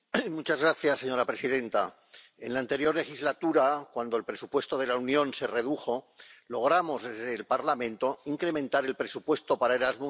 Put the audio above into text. Señora presidenta, en la anterior legislatura, cuando el presupuesto de la Unión se redujo, logramos desde el Parlamento incrementar el presupuesto para Erasmus en un